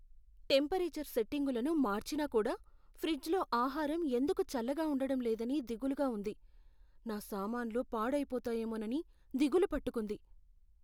Temperature సెట్టింగులను మార్చినా కూడా ఫ్రిజ్లో ఆహారం ఎందుకు చల్లగా ఉండటం లేదని దిగులుగా ఉంది. నా సామాన్లు పాడైపోతాయేమోనని దిగులు పట్టుకుంది.